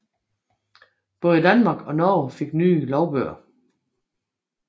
Både Danmark og Norge fik nye lovbøger